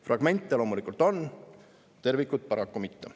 Fragmente loomulikult on, tervikut paraku mitte.